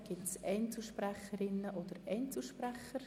Gibt es Einzelsprecherinnen oder Einzelsprecher?